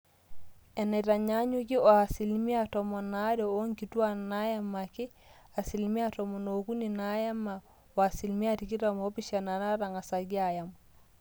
eneitanyanyuki o asilimia tomon aare oonkituaak naaemaki, asilimia tomon ookuni naaema o asilimia tikitam oopishana naatang'asaki aaem